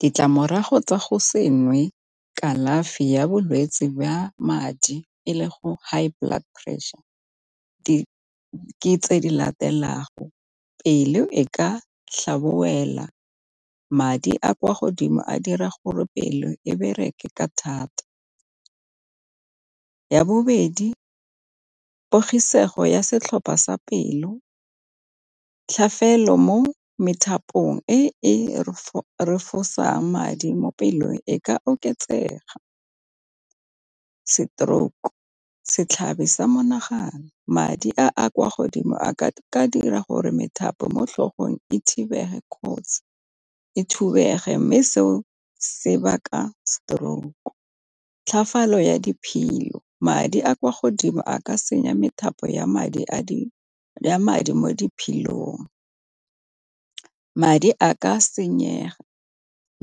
Ditlamorago tsa go se nwe kalafi ya bolwetsi ya madi e le high blood pressure ke tse di latelang pelo e ka madi a kwa godimo a dira gore pelo e bereke ka thata, ya bobedi pogisego ya setlhopha sa pelo, tlhafelo mo methapo e e refosang madi mo pelong e ka oketsega. Stroke-u, setlhabi sa monagano madi a a kwa godimo a ka dira gore methapo mo tlhogong e kotsi e thubege mme seo sebaka stroke-u. Tlhofalo ya diphilo madi a kwa godimo a ka se senya methapo ya madi mo diphilong. Madi a ka senyega